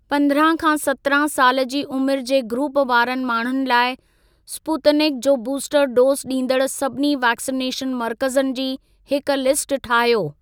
पंद्रहं खां सत्रहं साल जी उमिरि जे ग्रूप वारनि माण्हुनि लाइ स्पूतनिक जो बूस्टर डोज़ ॾींदड़ सभिनी वैक्सिनेशन मर्कज़नि जी हिक लिस्ट ठाहियो।